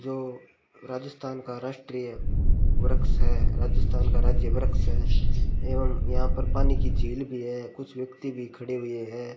जो राजस्थान का राष्ट्रीय वृक्ष है राजस्थान का राज्य वृक्ष है एवं यहां पर पानी की झील भी है कुछ व्यक्ति भी खड़े हुए हैं।